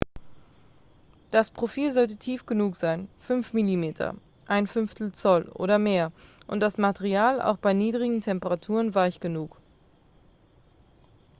das profil sollte tief genug sein 5 mm 1/5 zoll oder mehr und das material auch bei niedrigen temperaturen weich genug